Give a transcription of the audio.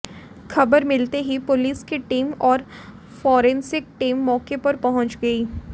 खबर मिलते ही पुलिस की टीम और फॉरेसिंक टीम मौके पर पहुंच गई